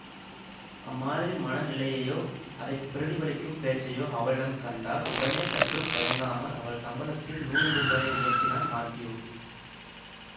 அம்மாதிரி மன நிலையையோ அதை பிரதிபலிக்கும் பேச்சையோ அவளிடம் கண்டால் உடனே சற்றும் தயங்காமல் அவள் சம்பளத்தில் நூறு ரூபாயை உயர்த்தினான் மாத்யூ